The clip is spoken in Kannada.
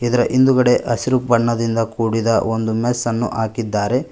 ಇದರ ಹಿಂದುಗಡೆ ಹಸಿರು ಬಣ್ಣದಿಂದ ಕೂಡಿರುವ ಒಂದು ಮೆಸ್ಸನ್ನು ಹಾಕಿದ್ದಾರೆ.